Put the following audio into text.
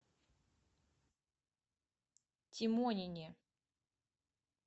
тимонине